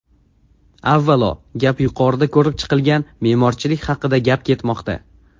Avvalo, gap yuqorida ko‘rib chiqilgan me’morchilik haqida gap ketmoqda.